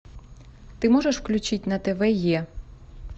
ты можешь включить на тв е